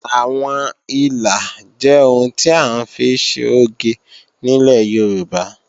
Àwọn ìlà jẹ́ ohun tí à ń fi ṣe oge nílẹ̀ Yorùbá